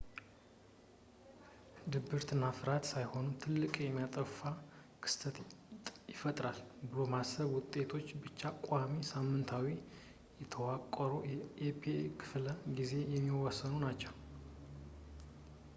ድብርት እና ፍርሃት ሳይሆኑ ትልቅ የሚያጠፋ ክስተት ይፈጠራል ብሎ የማሰብ ውጤቶች ብቻ በቋሚ ሳምንታዊ የተዋቀሩ የፒኤ ክፍለ ጊዜዎች የሚወሰኑ ናችው